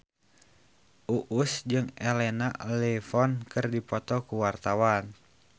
Uus jeung Elena Levon keur dipoto ku wartawan